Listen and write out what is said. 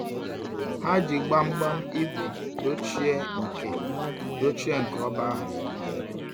Ha ji gbangbam igwe dochie nke dochie nke oba ahu.